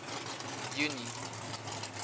junie